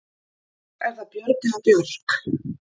Er það Björg eða Björk?